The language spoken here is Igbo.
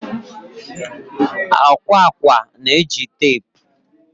akwa akwa na-eji teepu